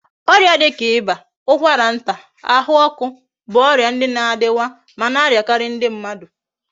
Oria dika iba, ukwara nta, ahu oku bu oria ndi na adiwa ma na ariakari ndi mmadu